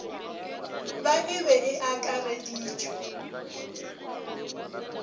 ba e be e akareditšwe